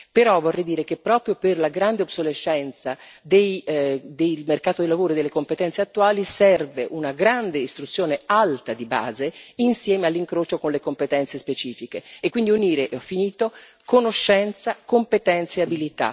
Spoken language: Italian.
Però vorrei dire che, proprio per la grande obsolescenza del mercato del lavoro e delle competenze attuali, serve una grande istruzione alta di base, insieme all'incrocio con le competenze specifiche e, quindi, unire conoscenza, competenze e abilità.